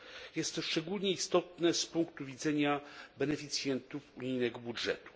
Jest to szczególnie istotne z punktu widzenia beneficjentów unijnego budżetu.